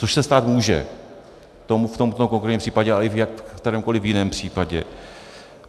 Což se stát může v tomto konkrétním případě, ale i v kterémkoliv jiném případě.